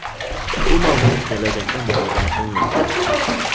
Bu mavzu kelajakda muhokama qilinadi.